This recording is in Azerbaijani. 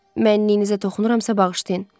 Mənniliğinizə toxunuramsa, bağışlayın.